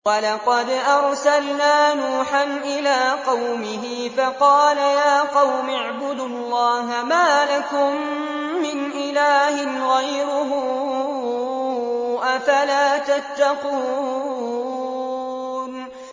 وَلَقَدْ أَرْسَلْنَا نُوحًا إِلَىٰ قَوْمِهِ فَقَالَ يَا قَوْمِ اعْبُدُوا اللَّهَ مَا لَكُم مِّنْ إِلَٰهٍ غَيْرُهُ ۖ أَفَلَا تَتَّقُونَ